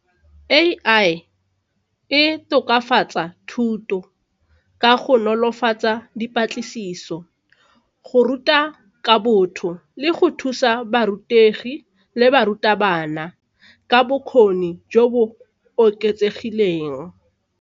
A_I e tokafatsa thuto ka go nolofatsa dipatlisiso, go ruta ka botho le go thusa barutegi le barutabana ka bokgoni jo bo oketsegileng.